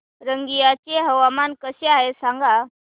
रंगिया चे हवामान कसे आहे सांगा